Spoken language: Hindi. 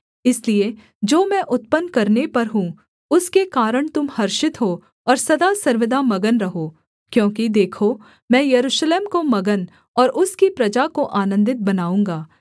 इसलिए जो मैं उत्पन्न करने पर हूँ उसके कारण तुम हर्षित हो और सदा सर्वदा मगन रहो क्योंकि देखो मैं यरूशलेम को मगन और उसकी प्रजा को आनन्दित बनाऊँगा